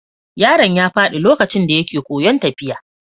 Yaron ya faɗi lokacin da yake koyon tafiya.